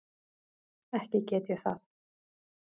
Ekki get ég það.